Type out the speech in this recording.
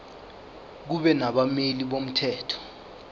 kube nabameli bomthetho